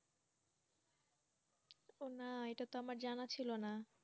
না এটা তো আমার জানা ছিল না